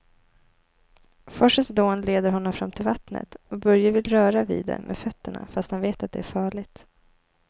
Forsens dån leder honom fram till vattnet och Börje vill röra vid det med fötterna, fast han vet att det är farligt.